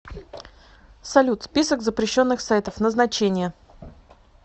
салют список запрещенных сайтов назначение